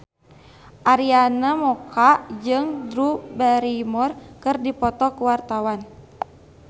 Arina Mocca jeung Drew Barrymore keur dipoto ku wartawan